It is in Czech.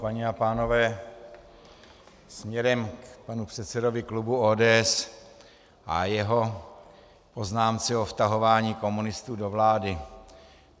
Paní a pánové, směrem k panu předsedovi klubu ODS a jeho poznámce o vtahování komunistů do vlády.